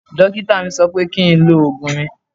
Dókítà mi sọ pé kí n lo oògùn mi